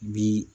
Bi